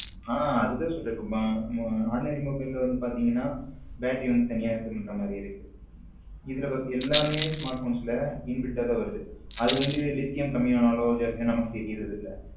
ஹம் அதுதான் இப்போ சொல்லுறேன் ordinary mobile ல வந்து பாத்தீங்கன்னா battery வந்து தனியா இது பண்ற மாதிரி இருக்கு இதுல எல்லாமே smartphones ல inbuilt ஆ தான் வருது அது வந்து லித்தியம் கம்மியா ஆனாலும் நமக்கு தெரிவதில்லை.